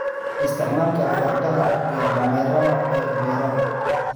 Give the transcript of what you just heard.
Isticmaalka fardaha iyo dameeraha ee beeraha.